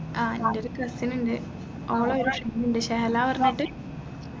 ആ അൻറെ ഒരു cousin ഉണ്ട് ഓളെ ഒരു ഷഹലാ പറഞ്ഞിട്ട്